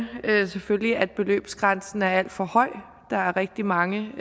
selvfølgelig at beløbsgrænsen er alt for høj der er rigtig mange